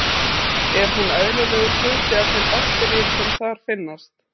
Er hún eðlilegur hluti af þeim bakteríum sem þar finnast.